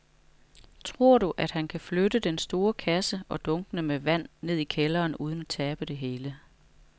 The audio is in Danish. Tror du, at han kan flytte den store kasse og dunkene med vand ned i kælderen uden at tabe det hele?